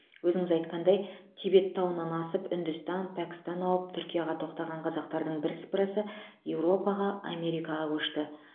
өзіңіз айтқандай тибет тауынан асып үндістан пәкістан ауып түркияға тоқтаған қазақтардың бірсыпырасы еуропаға америкаға көшті